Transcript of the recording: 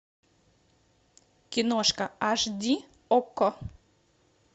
киношка аш ди окко